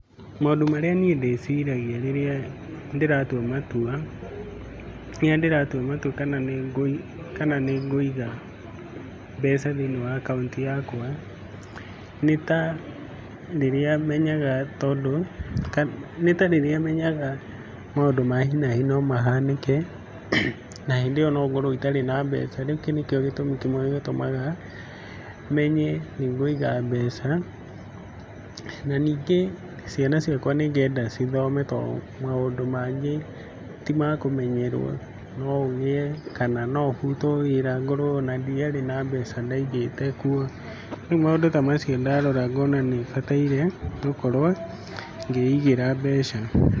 Maũndũ marĩa niĩ ndĩciragia rĩrĩa ndĩratua matua, rĩrĩa ndĩratua matua kana nĩngũi kana nĩngũiga mbeca thĩiniĩ wa akaunti yakwa nĩ ta rĩrĩa menyaga tondũ, nĩ ta rĩrĩa menyaga maũndũ ma hi na hi nomahanĩke na hĩndĩ ĩyo no ngorwo itarĩ na mbeca rĩu kĩu nĩkĩo gĩtũmi kĩmwe gĩtũmaga menye nĩngũiga mbeca, na ningĩ ciana ciakwa nĩngenda cithome tondũ maũndũ mangĩ timakũmenyerwo no ũgĩe kana no ũbutwo wĩra ngorwo ona ndiarĩ na mbeca ndaigĩte kuo, rĩu maũndũ ta macio ndarora ngona nĩbataire gũkorwo ngĩigĩra mbeca.